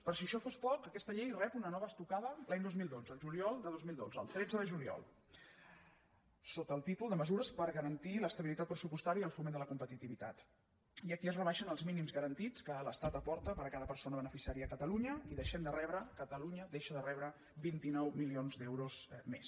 per si això fos poc aquesta llei rep una nova estocada l’any dos mil dotze el juliol de dos mil dotze el tretze de juliol sota el títol de mesures per garantir l’estabilitat pressupostària i el foment de la competitivitat i aquí es rebaixen els mínims garantits que l’estat aporta per a cada persona beneficiària a catalunya i deixem de rebre catalunya deixa de rebre vint nou milions d’euros més